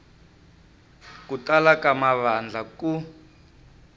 ku tala ka mavandla ku